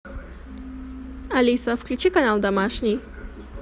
алиса включи канал домашний